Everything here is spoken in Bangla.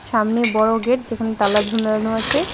সামনে বড় গেট যেখানে তালা ঝুলানো আছে .]